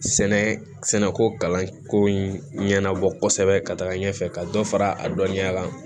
Sɛnɛ sɛnɛko kalanko in ɲɛnabɔ kɔsɛbɛ ka taga ɲɛfɛ ka dɔ fara a dɔnniya kan